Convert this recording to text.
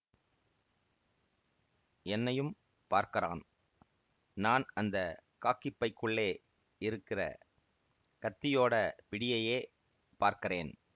என்னையும் பார்க்கறான் நான் அந்த காக்கிப் பைக்குள்ளே இருக்கற கத்தியோட பிடியையே பார்க்கறேன்